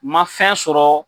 Ma fɛn sɔrɔ